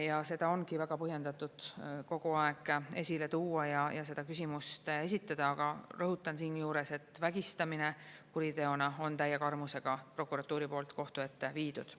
Ja seda ongi väga põhjendatud kogu aeg esile tuua ja seda küsimust esitada, aga rõhutan siinjuures, et vägistamine kuriteona on täie karmusega prokuratuuri poolt kohtu ette viidud.